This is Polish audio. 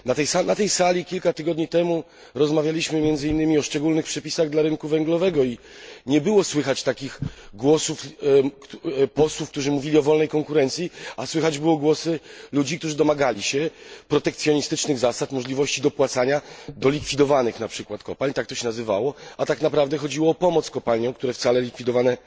Na tej sali, kilka tygodni temu, rozmawialiśmy, między innymi, o szczególnych przepisach dla rynku węglowego i nie było słychać takich głosów posłów, którzy mówili o wolnej konkurencji, a słychać było głosy ludzi, którzy domagali się protekcjonistycznych zasad, możliwości dopłacania do likwidowanych na przykład kopalń tak to się nazywało a tak naprawdę chodziło o pomoc kopalniom, które wcale likwidowane